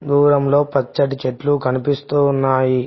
దూరంలో పచ్చటి చెట్లు కనిపిస్తూ ఉన్నాయి.